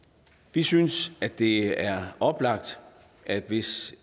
vi synes det er oplagt at hvis